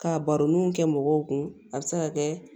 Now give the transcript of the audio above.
Ka baroniw kɛ mɔgɔw kun a bi se ka kɛ